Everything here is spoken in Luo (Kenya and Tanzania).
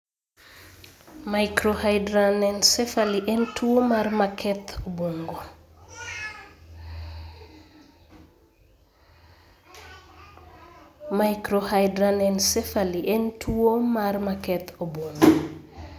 Microhydranencephaly en tuwo mar maketh obwongo.